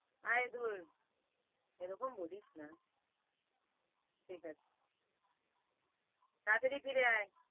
এই ধুর এরকম বলিস না ঠিক আছে তাড়াতাড়ি ফিরে আয়।